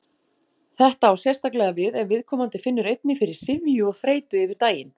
Þetta á sérstaklega við ef viðkomandi finnur einnig fyrir syfju og þreytu yfir daginn.